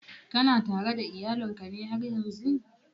Kana tare da iyalin ka ne haryan zun?